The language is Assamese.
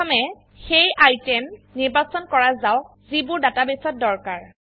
প্ৰথমে সেই আইটেম নিৰ্বাচন কৰা যাওক যিবোৰ ডাটাবেসত দৰকাৰ